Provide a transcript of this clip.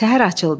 Səhər açıldı.